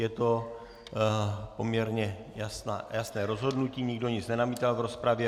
Je to poměrně jasné rozhodnutí, nikdo nic nenamítá v rozpravě.